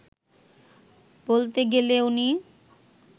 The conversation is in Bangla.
বলতে গেলে উনি